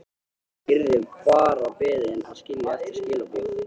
Yrði bara beðin að skilja eftir skilaboð.